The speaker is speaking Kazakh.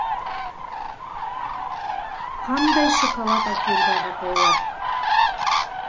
қандай шоколад әкелді ағатайлар